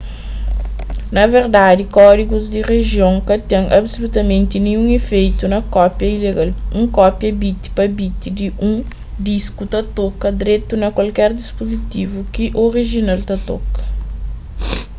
na verdadi kódigus di rijion ka ten absulutamenti ninhun ifeitu na kópia ilegal un kópia bit pa bit di un disku ta toka dretu na kualker dispuzitivu ki orijinal ta toka